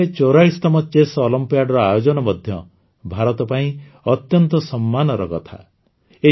ଚେନ୍ନାଇରେ ୪୪ତମ ଚେସ୍ ଅଲମ୍ପିଆଡର ଆୟୋଜନ ମଧ୍ୟ ଭାରତ ପାଇଁ ଅତ୍ୟନ୍ତ ସମ୍ମାନର କଥା